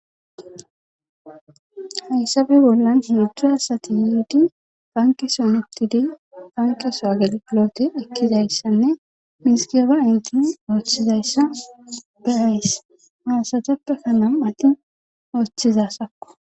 Hayssabe bollan mudhu hasati yiidi banki sonutidi bankesowaagel pilote ekkidayssanne miskeeba intin ooththizayssa be ayss maasateppekka nam'attin ooththizassakko.